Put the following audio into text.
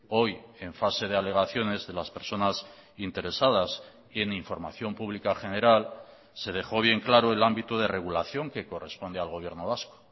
hoy en fase de alegaciones de las personas interesadas y en información pública general se dejó bien claro el ámbito de regulación que corresponde al gobierno vasco